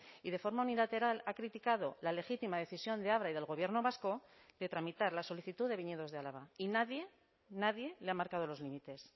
y de forma unilateral ha criticado la legítima decisión de abra y del gobierno vasco de tramitar la solicitud de viñedos de álava y nadie nadie le ha marcado los límites